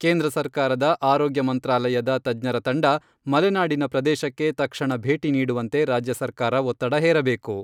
ಕೇಂದ್ರ ಸರ್ಕಾರದ ಆರೋಗ್ಯ ಮಂತ್ರಾಲಯದ ತಜ್ಞರ ತಂಡ, ಮಲೆನಾಡಿನ ಪ್ರದೇಶಕ್ಕೆ ತಕ್ಷಣ ಭೇಟಿ ನೀಡುವಂತೆ ರಾಜ್ಯ ಸರ್ಕಾರ ಒತ್ತಡ ಹೇರಬೇಕು.